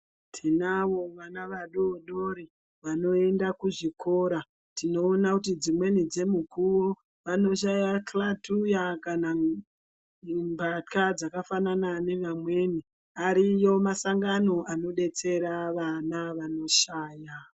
Tinavo vana vadodori vanoenda kuzvikora. Tinoona kuti dzimweni dzemukuwo ,vanoshaya xhlathuya kana um , mbahla dzakafanana nevamweni. Ariyo masangano anodetsera vana vanoshaya.